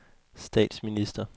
statsminister